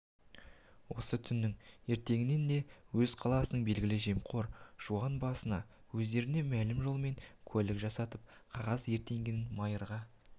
осы түнінің ертеңінде өз қаласының белгілі жемқор жуан басына өздеріне мәлім жолмен куәлік жасатып қағаз өртенгенін майырға